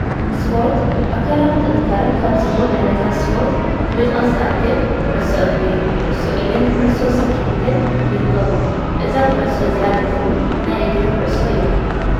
ስፖርት፡- ኣካላዊ ጥንካረ ካብ ዝህቡ ዓይነታት ስፖርት ንምጥቃስ ዝኣክል ኩዕሶ እግሪ፣ ኩዕሶ ኢድን ኩዕሶ ስክዔትን ይርከቡ፡፡ እዛ ኩዕሶ እዚኣ ግን ናይ እግሪ ኩዕሶ እያ፡፡